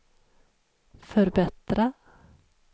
förbättra